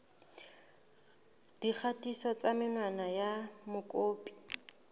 dikgatiso tsa menwana ya mokopi